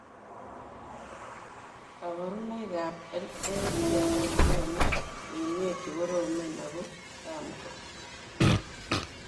Kabarunaik ab NA kotesetai kogonu uinwek chekoromen ak ko tamko